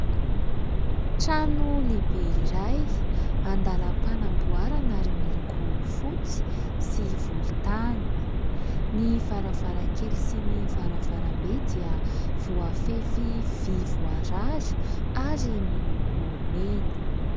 Trano lehibe iray andalam-panamboarana ary miloko fotsy sy volontany. Ny varavarankely sy varavarambe dia voafefy vy voarary ary miloko mena.